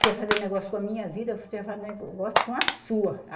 Quer fazer negócio com a minha vida, você faz negócio com a sua.